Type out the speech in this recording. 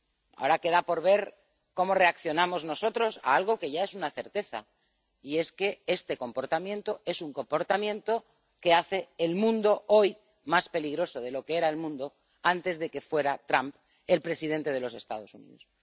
Ahora queda por ver cómo reaccionamos nosotros ante algo que ya es una certeza que este comportamiento es un comportamiento que hace que el mundo sea hoy más peligroso de lo que era antes de que Trump fuera el presidente de los Estados Unidos.